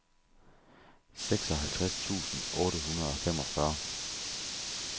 seksoghalvtreds tusind otte hundrede og femogfyrre